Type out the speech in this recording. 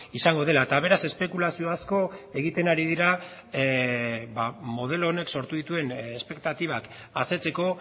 izango dela eta beraz espekulazio asko egiten ari dira modelo honek sortu dituen espektatibak asetzeko